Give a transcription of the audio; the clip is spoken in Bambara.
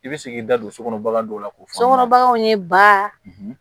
I bɛ se k'i da don so kɔnɔ k'o fɔ sokɔnɔ baganw ye ba